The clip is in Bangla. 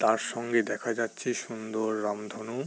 তার সঙ্গে দেখা যাচ্ছে সুন্দর রামধনু।